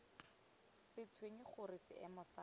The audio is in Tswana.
sa tshwenye gore seemo sa